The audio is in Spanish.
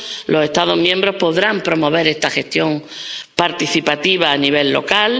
Los Estados miembros podrán promover esta gestión participativa a nivel local.